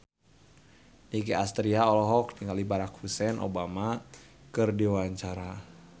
Nicky Astria olohok ningali Barack Hussein Obama keur diwawancara